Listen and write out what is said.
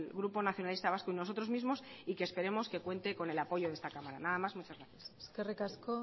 grupo nacionalista vasco y nosotros mismos y que esperamos que cuenta con el apoyo de esta cámara nada más muchas gracias eskerrik asko